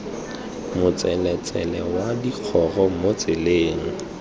motseletsele wa digoro mo tseleng